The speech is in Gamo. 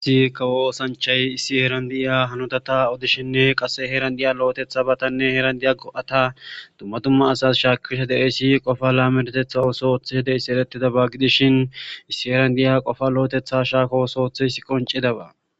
Issi kawo oosanchay issi heeran di'iya hanodata odishinne qasse heeran di'iya lo'etetha batanne heeran di'a go'ata dumma dumma asas shaakisha de'esi qofa laamentetha osoothe de'essi erettidaba gidishin issi heeran di'iya qofa lo'etetha shaako osoothe s qoncidaba.